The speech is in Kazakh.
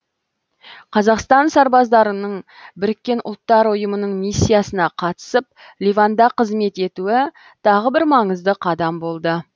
қазақстан сарбаздарының біріккен ұлттар ұйымының миссиясына қатысып ливанда қызмет етуі тағы бір маңызды қадам болды